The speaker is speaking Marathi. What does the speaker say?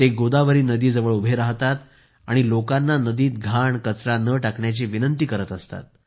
ते गोदावरी नदीजवळ उभे राहतात आणि लोकांना नदीत घाण कचरा न टाकण्याची विनंती करत असतात